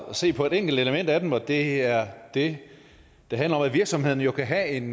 se på et enkelt element af dem og det er det der handler om at virksomhederne jo kan have en